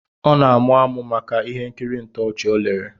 Ọ na-amuamu maka ihe nkiri ntoochi ọ lere